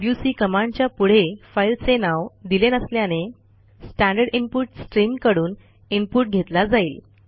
WC कमांडच्या पुढे फाईलचे नाव दिले नसल्याने स्टँडर्ड इनपुट स्ट्रीम कडून इनपुट घेतला जाईल